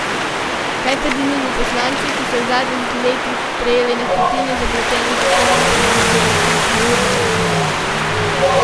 Kaj pa denimo poslanci, ki so v zadnjih letih sprejeli na stotine zapletenih zakonov, ki nam birokratizirajo državo?